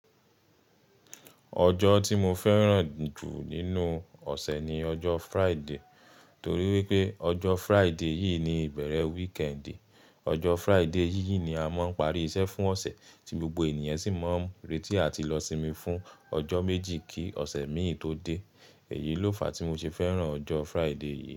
Ọjọ́ tí mo fẹ́ràn jù nínú ọ̀sẹ̀ ni ọjọ́ Friday, torí pé ọjọ́ Friday yìii ni ìbẹ̀rẹ̀ weekend. Ọjọ́ Friday yìí ni a máa ń parí iṣẹ́ fún ọ̀sẹ̀, ti gbogbo ènìyan sì máa ń rètì àti lọ sími fún ọjọ́ méjì kí ọ̀sẹ̀ mìí tó dé. Èyí ló fàá tí mo ṣe fẹ́ràn ọjọ́ Friday yìí.